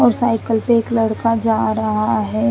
और साईकल पे एक लड़का जा रहा है।